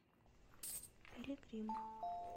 пилигрим